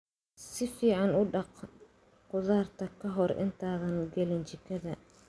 Si fiican u dhaq khudaarta ka hor intaadan gelin jikada.